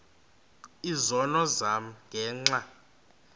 izono zam ngenxa